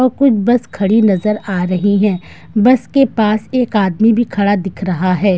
और कुछ बस खड़ी नजर आ रही है बस के पास एक आदमी भी खड़ा दिख रहा है।